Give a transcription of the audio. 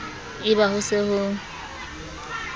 e ba ho se ho